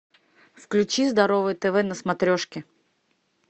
включи здоровое тв на смотрешке